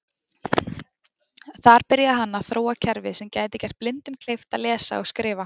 Þar byrjaði hann að þróa kerfi sem gæti gert blindum kleift að lesa og skrifa.